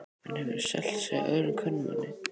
Hann hefur selt sig öðrum kvenmanni.